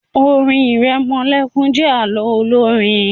orin iremolekun jé àlọ Olorin.